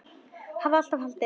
Hafði alltaf haldið.